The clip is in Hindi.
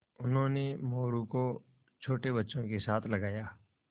उन्होंने मोरू को छोटे बच्चों के साथ लगाया